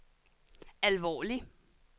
alvorlig